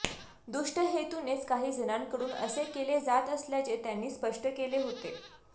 दूष्ट हेतूनेच काही जणांकडून असे केले जात असल्याचे त्यांनी स्पष्ट केले होते